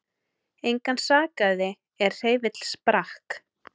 Engan sakaði er hreyfill sprakk